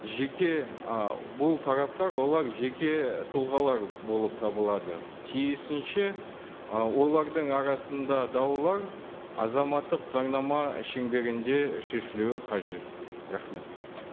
жеке ы бұл тараптар олар жеке тұлғалар болып табылады тиісінше ы олардың арасында даулар азаматтық заңнама шеңберінде шешілуі қажет рахмет